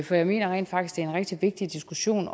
for jeg mener rent faktisk det er en rigtig vigtig diskussion